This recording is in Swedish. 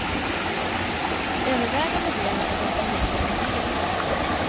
Övervägande delen av dem som ringde var negativa till bron.